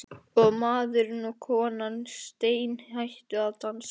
Og maðurinn og konan steinhættu að dansa.